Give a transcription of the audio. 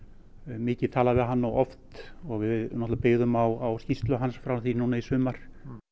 mikið talað við hann og oft og við náttúrulega byggðum á skýrslu hann frá því núna í sumar